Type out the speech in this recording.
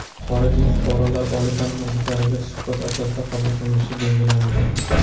xorijiy fuqarolar oliy taʼlim muassasalariga suhbat asosida qabul qilinishi belgilandi.